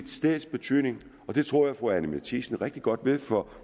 stedets betydning og det tror jeg at fru anni matthiesen rigtig godt ved for